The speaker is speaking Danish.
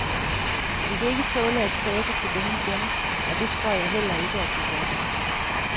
Vi kan ikke tåle at tabe til dem igen, og det tror jeg heller ikke, at vi gør.